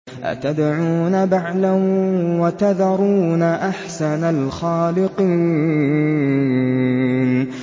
أَتَدْعُونَ بَعْلًا وَتَذَرُونَ أَحْسَنَ الْخَالِقِينَ